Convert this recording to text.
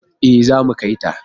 E, zamu kai ta.